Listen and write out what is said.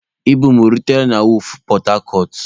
Ibu m o rutela na wọọfụ pọtacọt?